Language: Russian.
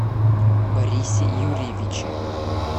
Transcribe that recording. борисе юрьевиче